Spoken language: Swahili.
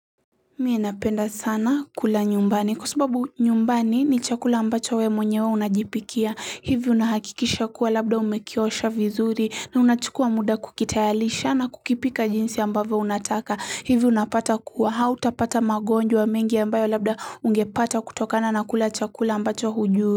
Mie napenda sana kula nyumbani kwa sababu nyumbani ni chakula ambacho we mwenyewe unajipikia hivi unahakikisha kuwa labda umekiosha vizuri na unachukua muda kukitayarisha na kukipika jinsi ambavyo unataka hivi unapata kuwa hau tapata magonjwa mengi ambayo labda ungepata kutokana na kula chakula ambacho hujui.